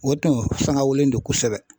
O tun sanka wulilen no kosɛbɛ.